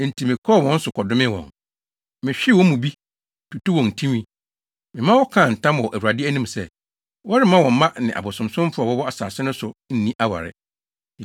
Enti mekɔɔ wɔn so kɔdomee wɔn. Mehwee wɔn mu bi, tutuu wɔn tinwi. Mema wɔkaa ntam wɔ Awurade anim sɛ, wɔremma wɔn mma ne abosonsomfo a wɔwɔ asase no so nni aware.